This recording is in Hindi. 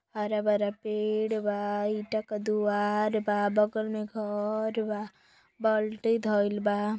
हरा भरा पेड़ बा ईटा का दुआर बा बगल में घर बा बाल्टी धईल बा।